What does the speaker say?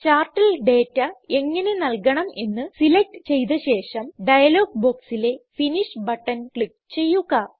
ചാർട്ടിൽ ഡേറ്റ എങ്ങനെ നല്കണം എന്ന് സിലക്റ്റ് ചെയ്ത ശേഷം ഡയലോഗ് ബോക്സിലെ ഫിനിഷ് ബട്ടൺ ക്ലിക്ക് ചെയ്യുക